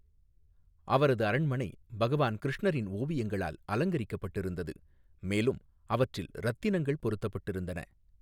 அவரது அரண்மனை பகவான் கிருஷ்ணரின் ஓவியங்களால் அலங்கரிக்கப்பட்டிருந்தது, மேலும் அவற்றில் ரத்தினங்கள் பொருத்தப்பட்டிருந்தன.